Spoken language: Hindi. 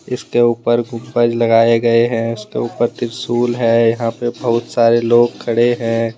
इसके ऊपर गुंबज लगाए गए हैं उसके ऊपर त्रिशूल है यहां पर बहुत सारे लोग खड़े हैं।